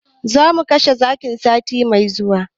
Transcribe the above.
Zamu kashe zakin sati mai zuwa